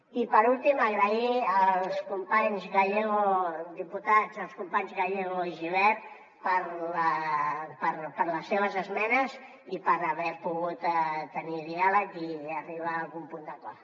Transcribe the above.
i per últim donar les gràcies als diputats els companys gallego i gibert per les seves esmenes i per haver pogut tenir diàleg i arribar a algun punt d’acord